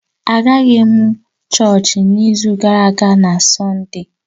Agaghị m chọọchị n’izu gara aga na Sọnde